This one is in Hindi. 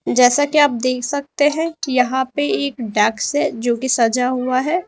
जैसा कि आप देख सकते हैं यहां पे एक डेस्क है जो की सजा हुआ है।